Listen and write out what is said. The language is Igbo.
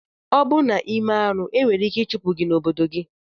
Obụ na ime arụ enwere ike ichụpụ gi na obodo gi.